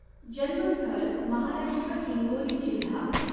जन्मस्थळ महाराष्ट्र हिँगोली जिल्हा